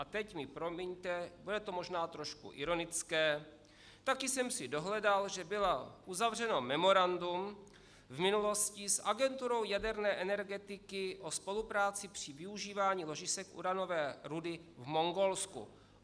A teď mi promiňte, bude to možná trošku ironické, taky jsem si dohledal, že bylo uzavřeno memorandum v minulosti s agenturou jaderné energetiky o spolupráci při využívání ložisek uranové rudy v Mongolsku.